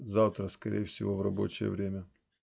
завтра скорее всего в рабочее время